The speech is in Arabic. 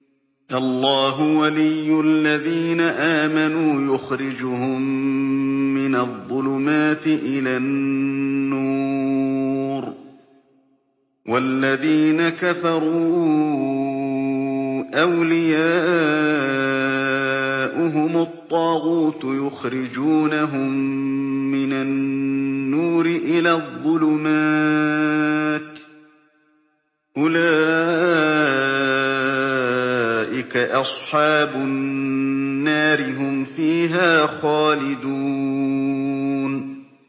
اللَّهُ وَلِيُّ الَّذِينَ آمَنُوا يُخْرِجُهُم مِّنَ الظُّلُمَاتِ إِلَى النُّورِ ۖ وَالَّذِينَ كَفَرُوا أَوْلِيَاؤُهُمُ الطَّاغُوتُ يُخْرِجُونَهُم مِّنَ النُّورِ إِلَى الظُّلُمَاتِ ۗ أُولَٰئِكَ أَصْحَابُ النَّارِ ۖ هُمْ فِيهَا خَالِدُونَ